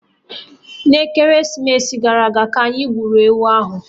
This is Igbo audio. N'ekeresimesi gara aga, ka anyị gburu ewu ahụ